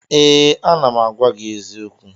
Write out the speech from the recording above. Ee, ana m agwa gị eziokwu